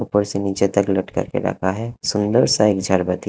ऊपर से नीचे तक लटका के रखा है सुंदर सा एक